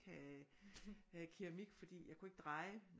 Have have keramik fordi jeg kunne ikke dreje